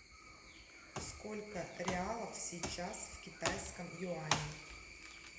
сколько реалов сейчас в китайском юане